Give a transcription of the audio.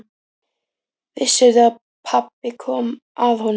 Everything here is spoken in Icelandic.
Vissirðu að pabbi kom að honum?